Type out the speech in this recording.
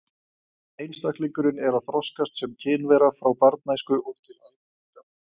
Einstaklingurinn er að þroskast sem kynvera frá barnæsku og til æviloka.